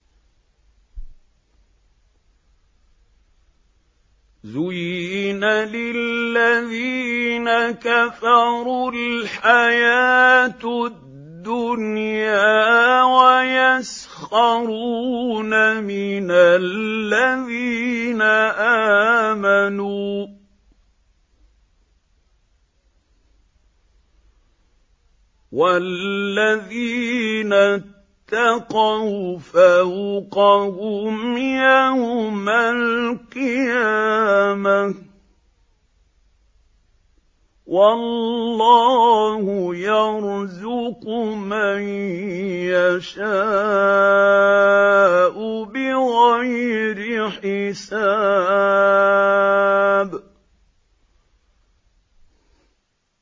زُيِّنَ لِلَّذِينَ كَفَرُوا الْحَيَاةُ الدُّنْيَا وَيَسْخَرُونَ مِنَ الَّذِينَ آمَنُوا ۘ وَالَّذِينَ اتَّقَوْا فَوْقَهُمْ يَوْمَ الْقِيَامَةِ ۗ وَاللَّهُ يَرْزُقُ مَن يَشَاءُ بِغَيْرِ حِسَابٍ